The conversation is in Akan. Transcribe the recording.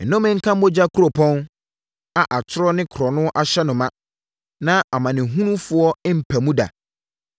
Nnome nka mogya kuropɔn a atorɔ ne korɔno ahyɛ no ma na amanehunufoɔ mmpa mu da!